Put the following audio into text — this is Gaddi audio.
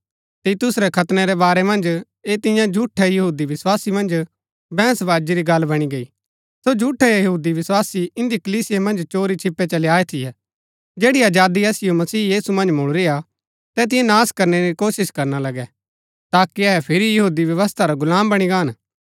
तीतुस रै खतनै रै बारै मन्ज ऐह तियां झूठै यहूदी विस्वासी मन्ज बैहंस बाजी री गल्ल बणी गैई सो झूठै यहूदी विस्वासी इन्दी कलीसिया मन्ज चोरी छिपे चली आये थियै जैड़ी आजादी असिओ मसीह यीशु मन्ज मुळूरी हा तैतिओ नाश करनै री कोशिश करना लगै ताकि अहै फिरी यहूदी व्यवस्था रा गुलाम बणी गाहन